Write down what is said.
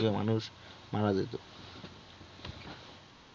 মারা যেত।